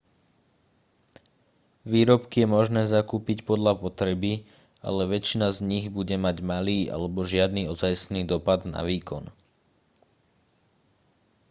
výrobky je možné zakúpiť podľa potreby ale väčšina z nich bude mať malý alebo žiadny ozajstný dopad na výkon